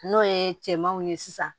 N'o ye cɛmanw ye sisan